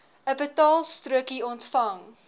n betaalstrokie ontvang